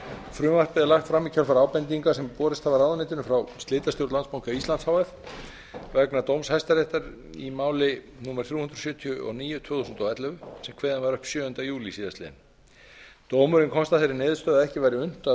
frumvarpið er lagt fram í kjölfar ábendinga sem hafa borist ráðuneytinu frá slitastjórn landsbanka íslands h f vegna dóms hæstaréttar íslands í máli númer þrjú hundruð sjötíu og níu tvö þúsund og ellefu sem kveðinn var upp sjöunda júlí síðastliðinn dómurinn komst að þeirri niðurstöðu að ekki væri unnt að